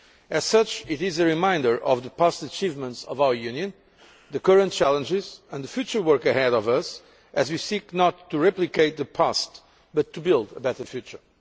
As such it is a reminder of the past achievements of our Union, the current challenges and the future work ahead of us, as we seek not to replicate the past but to build a better future.